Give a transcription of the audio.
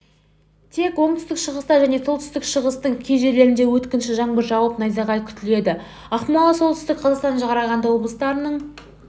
тек оңтүстік-шығыста және солтүстік-шығыстың кей жерлерінде өткінші жаңбыр жауып найзағай күтіледі ақмола солтүстік қазақстан қарағанды облыстарының